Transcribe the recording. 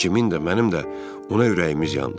Cimin də, mənim də ona ürəyimiz yandı.